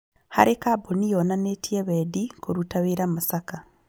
Harĩ kambuni yonanĩtie wendi kũruta wĩra Masaka